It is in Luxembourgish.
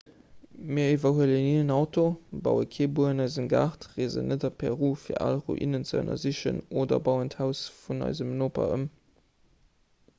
mir iwwerhuelen ni en auto baue kee buer an eisem gaart reesen net a peru fir al ruinen ze ënnersichen oder bauen d'haus vun eisem noper ëm